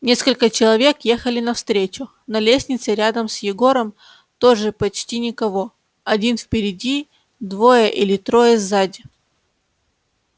несколько человек ехали навстречу на лестнице рядом с егором тоже почти никого один впереди двое или трое сзади